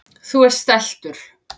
Þú ert stæltur.